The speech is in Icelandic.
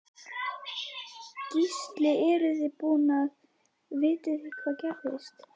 Gísli eruð þið búin að, vitið þið hvað gerðist?